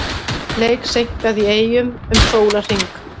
Leik seinkað í Eyjum um sólarhring